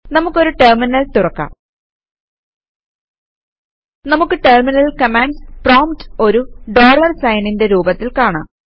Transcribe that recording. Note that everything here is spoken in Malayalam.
നമുക്ക് ഒരു ടെർമിനൽ തുറക്കാം നമുക്ക് ടെർമിനലിൽ കമാൻഡ്സ് പ്രോംപ്റ്റ് ഒരു ഡോളർ സൈനിന്റെ രൂപത്തിൽ കാണാം